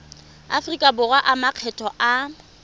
aforika borwa a makgetho a